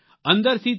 અંદરથી તે